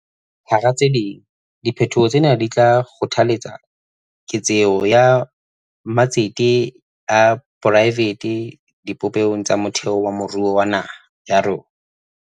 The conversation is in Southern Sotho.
Hara tse ding, diphetoho tsena di tla kgothaletsa keketseho ya matsete a poraefete dibopehong tsa motheo tsa moruo wa naha ya rona.